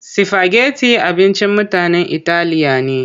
Sifageti abincin mutanen italiya ne.